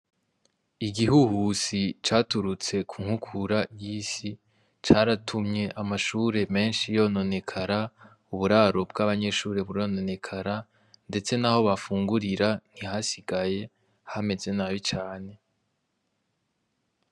Igihuhusi caturutse ku nkukura y'isi caratumye amashure menshi yononekara, uburaro bw'abanyeshure burononekara, ndetse naho bafungurira ntihasigaye ,hameze nabi cane.